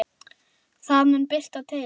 Það mun birta til.